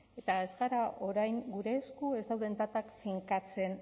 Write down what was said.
eta ez gara orain gure esku ez dauden datak finkatzen